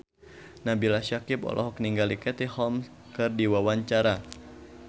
Nabila Syakieb olohok ningali Katie Holmes keur diwawancara